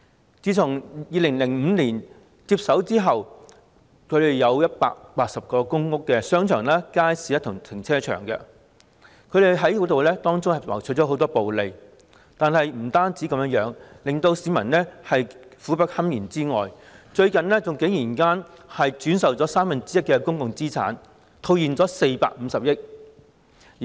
領展自2005年接手180個公屋商場、街市及停車場後，不僅從中牟取暴利，令市民苦不堪言，最近竟然轉售三分之一的公共資產，套現450億元。